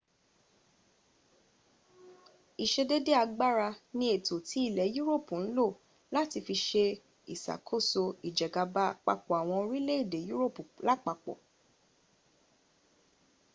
ìsedédé agbára ni ètò tí ilẹ̀ europu ń lò láti fi se ìsàkóso ìjẹgàba àpapọ̀ àwọn orílẹ̀ europu lápapọ